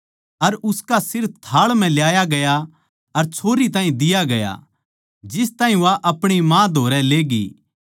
अर उसका सिर थाळ म्ह ल्याया गया अर छोरी ताहीं दिया गया जिस ताहीं वा अपणी माँ धोरै ले गयी